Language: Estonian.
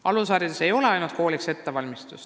Alusharidus ei ole ainult ettevalmistus kooliks.